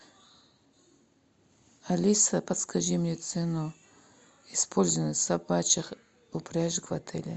алиса подскажи мне цену использования собачих упряжек в отеле